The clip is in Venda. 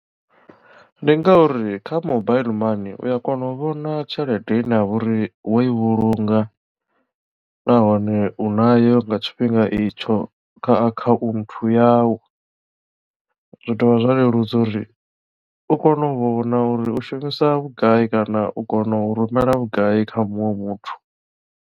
Ndi ngauri kha mobaiḽi mani uya kona u vhona tshelede ine ya vha uri wo i vhulunga nahone u na yo nga tshifhinga itsho kha akhaunthu yau zwi dovha zwa leludza uri u kone u vhona uri u shumisa vhugai kana u kono u rumela vhugai kha muṅwe muthu.